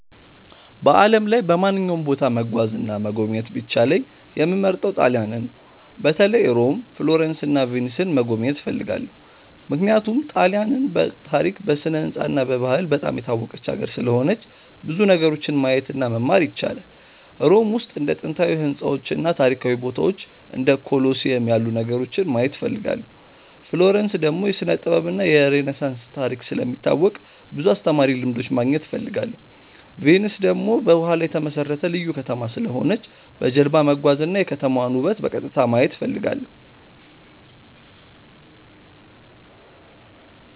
በዓለም ላይ በማንኛውም ቦታ መጓዝ እና መጎብኘት ቢቻለኝ የምመርጠው ጣሊያንን ነው። በተለይ ሮም፣ ፍሎረንስ እና ቪንስን መጎብኘት እፈልጋለሁ። ምክንያቱም ጣሊያንን በታሪክ፣ በስነ-ሕንፃ እና በባህል በጣም የታወቀች ሀገር ስለሆነች ብዙ ነገሮችን ማየት እና መማር ይቻላል። ሮም ውስጥ እንደ ጥንታዊ ሕንፃዎች እና ታሪካዊ ቦታዎች እንደ ኮሎሲየም ያሉ ነገሮችን ማየት እፈልጋለሁ። ፍሎረንስ ደግሞ የስነ-ጥበብ እና የሬነሳንስ ታሪክ ስለሚታወቅ ብዙ አስተማሪ ልምዶች ማግኘት እፈልጋለሁ። ቪንስ ደግሞ በውሃ ላይ የተመሠረተ ልዩ ከተማ ስለሆነች በጀልባ መጓዝ እና የከተማዋን ውበት በቀጥታ ማየት እፈልጋለሁ።